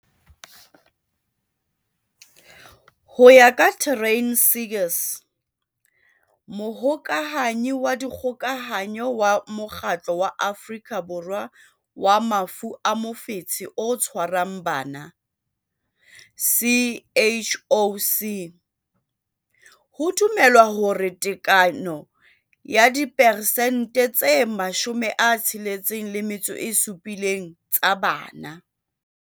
Ho ya ka Taryn Seegers, Mohokahanyi wa Dikgokahanyo wa Mokgatlo wa Afrika Borwa wa Mafu a Mofetshe o Tshwarang Bana, CHOC, ho dumelwa hore tekano ya diperesente tse 67 tsa bana.